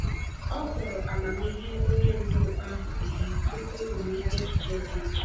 Ọ kpọrọ amamihe onye ndu ahụ ihe tupu o nye echiche dị iche.